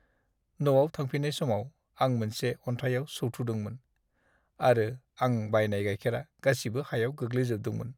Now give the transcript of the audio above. न'आव थांफिननाय समाव, आं मोनसे अनथायाव सौथुदोंमोन, आरो आं बायनाय गाइखेरा गासिबो हायाव गोग्लैजोबदोंमोन।